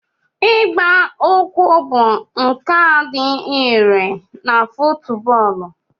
Ịgba ụkwụ bụ nkà dị irè na fútúbọọlu